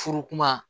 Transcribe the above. Furu kuma